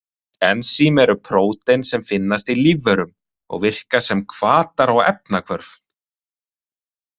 Ensím eru prótín sem finnast í lífverum og virka sem hvatar á efnahvörf.